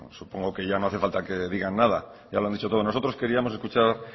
supongo que ya no hace falta que digan nada ya lo han dicho todo nosotros queríamos escuchar